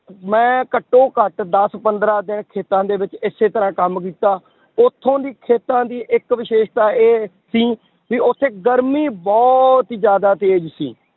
ਮੈਂ ਘੱਟੋ ਘੱਟ ਦਸ ਪੰਦਰਾਂ ਦਿਨ ਖੇਤਾਂ ਦੇ ਵਿੱਚ ਇਸੇ ਤਰ੍ਹਾਂ ਕੰਮ ਕੀਤਾ, ਉੱਥੋਂ ਦੀ ਖੇਤਾਂ ਦੀ ਇੱਕ ਵਿਸ਼ੇਸ਼ਤਾ ਇਹ ਸੀ ਵੀ ਉੱਥੇ ਗਰਮੀ ਬਹੁਤ ਹੀ ਜ਼ਿਆਦਾ ਤੇਜ਼ ਸੀ